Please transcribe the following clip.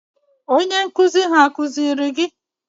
Onye nkụzi ha akụziri gi?